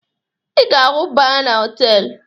Ị ga-ahụ baa na họtelu